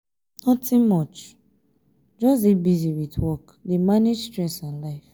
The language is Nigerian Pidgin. nothing much just dey busy with work dey manage stress and life.